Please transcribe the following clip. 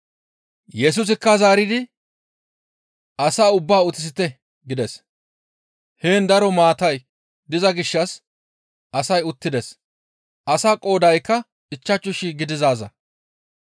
Yesusikka zaaridi, «Asaa ubbaa utisite» gides; heen daro maatay diza gishshas asay uttides; asaa qoodaykka ichchashu shii gidizaaza.